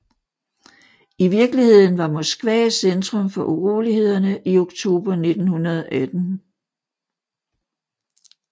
I virkeligheden var Moskva centrum for urolighederne i oktober 1918